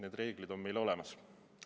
Need reeglid on meil olemas.